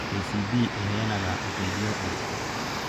KCB ĩheanaga ũteithio ũrĩkũ?